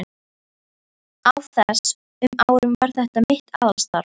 Á þess- um árum var þetta mitt aðalstarf.